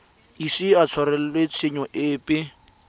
ise a tshwarelwe tshenyo epe